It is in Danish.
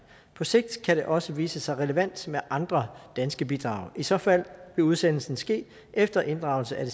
på sigt kan det også vise sig relevant med andre danske bidrag i så fald vil udsendelsen ske efter inddragelse af